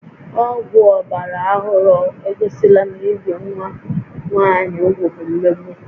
Ọgwụ ọgbara ọhụrụ egosila na ibi nwa nwaanyị úgwù bụ mmegbu